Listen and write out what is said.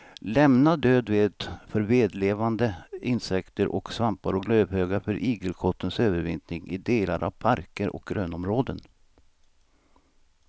Lämna död ved för vedlevande insekter och svampar och lövhögar för igelkottens övervintring i delar av parker och grönområden.